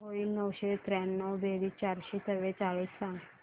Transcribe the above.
काय होईल नऊशे त्र्याण्णव बेरीज चारशे चव्वेचाळीस सांग